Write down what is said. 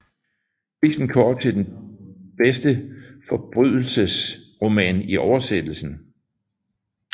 Prisen går til den bedste forbrydelses roman i oversættelse